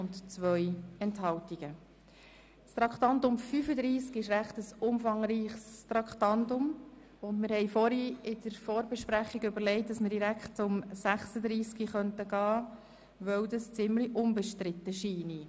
Weil Traktandum 35 ein ziemlich umfangreiches Geschäft beinhaltet, haben wir beschlossen, direkt mit Traktandum 36 weiterzufahren, da dieses ziemlich unbestritten ist.